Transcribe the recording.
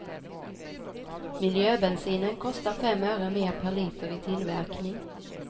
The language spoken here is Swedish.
Miljöbensinen kostar fem öre mer per liter i tillverkning.